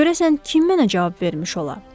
Görəsən kim mənə cavab vermiş ola?